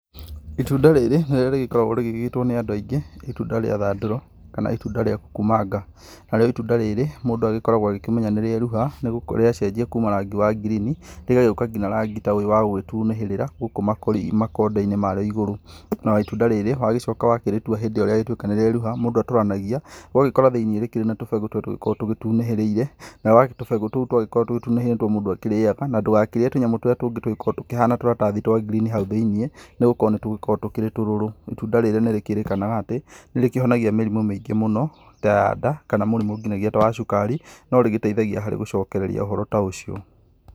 Itunda rĩrĩ nĩrĩo rĩgĩkoragwo rĩgĩgĩtwo nĩ andũ aingĩ itunda rĩa thandũro kana itunda rĩa kukumanga. Narĩo itunda rĩrĩ mũndũ agĩkoragwo akĩmenya nĩrĩerũha rĩacenjia kuma rangi wa ngirini rĩgagĩuka nginya rangi ta ũyũ wa gũgĩtunĩhĩrira, gũkũ makondo-inĩ marĩo ĩgũrũ. Na itunda rĩrĩ wagĩcoka wakĩrĩtua hĩndĩ ĩyo rĩagĩtuĩka nĩrĩeruha mũndũ atũranagia ũgagĩkora thĩini rĩkĩrĩ na tũbegũ tũtũ tũgĩkoragwo tũgĩtunĩhĩrĩire na tũbegũ tũu twagĩkorwo tũgĩtunĩhĩrĩire nĩtuo mũndũ akĩrĩaga na ndũgakĩrĩe tũnyamũ tũrĩa tũngĩ tũgĩkoragwo tũkĩhana tũratathi twa ngirini hau thĩinĩ nĩgũkorwo nĩtukoragwo tũrĩ tũrũrũ. Itunda rĩrĩ nĩrĩkĩrĩkanaga atĩ nĩrĩkĩhonagia mĩrimũ mĩingĩ mũno ta ya nda kana mũrimũ ngĩnyagia ta wa cukari no rĩgĩteithagia harĩ gũcokereria ũhoro ta ũcio.